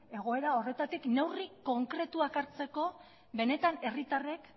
egoera horretatik neurri konkretuak hartzeko benetan herritarrek